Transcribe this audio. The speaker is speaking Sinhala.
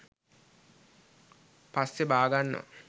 පස්සේ බාගන්නවා